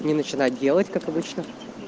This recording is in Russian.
не начинать делать как обычно